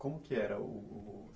Como que era o...